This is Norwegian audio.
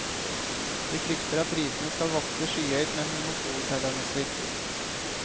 De frykter at prisene skal vokse skyhøyt med monopoltendenser.